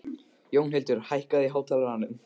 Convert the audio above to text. Jónhildur, hækkaðu í hátalaranum.